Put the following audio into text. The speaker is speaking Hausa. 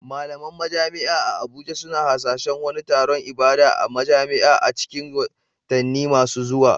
Malaman majami'a a Abuja suna hasashen wani taron ibada a majam'a a cikin watanni masu zuwa.